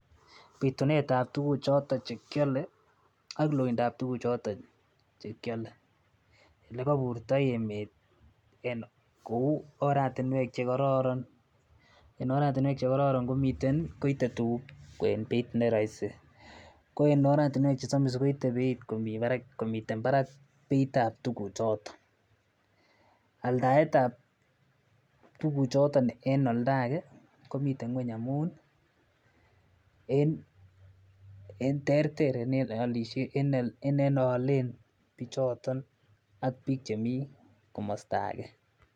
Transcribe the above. Pitunet ab tukuu choto che kiolei ak loindo ab tukuu choto che kiolei. Ole kaiburto emeet kou oratinwek chekororon koitei tukuk eng beit ne rahisi ko eng oratinwek chesamis koitei komiten Barak beit ab tukuu choto aldaet ab tukuu choto eng oldo age komitei ngwen amun terter Ole olishen bichoto ak bik chemii komosta age